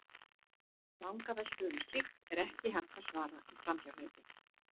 Vangaveltum um slíkt er ekki hægt að svara í framhjáhlaupi.